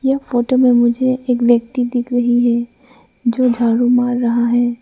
यह फोटो में मुझे एक व्यक्ति दिख रही है जो झाड़ू मार रहा है।